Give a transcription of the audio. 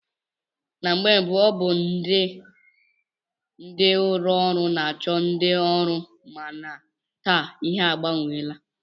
Na mgbe mbụ ọ na-abụ ndị ụlọọrụ na-achọ ndị ọrụ mana taa ihe agbanweela